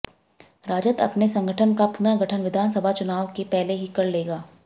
राजद अपने संगठन का पुनर्गठन विधानसभा चुनाव के पहले ही कर लेगा